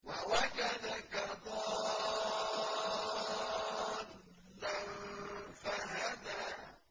وَوَجَدَكَ ضَالًّا فَهَدَىٰ